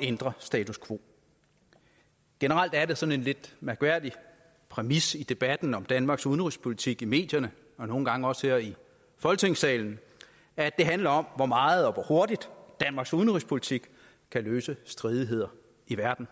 ændre status quo generelt er det sådan en lidt mærkværdig præmis i debatten om danmarks udenrigspolitik i medierne og nogle gange også her i folketingssalen at det handler om hvor meget og hvor hurtigt danmarks udenrigspolitik kan løse stridigheder i verden